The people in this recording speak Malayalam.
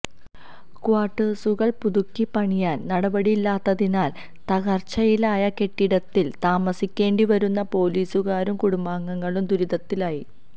ക്വാര്ട്ടേഴ്സുകള് പുതുക്കിപണിയാന് നടപടിയില്ലാത്തതിനാല് തകര്ച്ചയിലായ കെട്ടിടത്തില് താമസിക്കേണ്ടിവരുന്ന പോലീസുകാരും കുടുംബാംഗങ്ങളും ദുരിതത്തിലായി